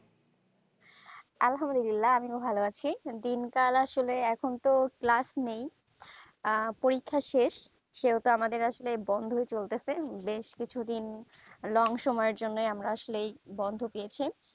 আলহামদুলিল্লা আমিও ভালো আছি দিন কাল আসলে এখন তো class নেই আহ পরীক্ষা শেষ সেইটো আমাদের বন্ধই চলতেছে বেশ কিছু দিন long সময় এর জন্য আমরা আসলে বন্ধ পেয়েছি